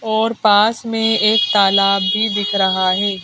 और पास में एक तालाब भी दिख रहा है।